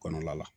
Kɔnɔna la